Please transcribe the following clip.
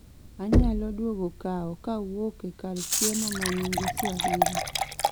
anyalo luongo kao kawuok e kar chiemo ma nyinge swahili